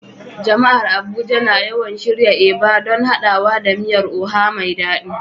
Jama'ar Abuja na yawan shirya Eba don haɗawa da miyar Oha mai dadi.